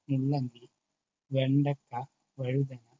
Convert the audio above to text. മുള്ളങ്കി, വെണ്ടക്ക, വഴുതനങ്ങ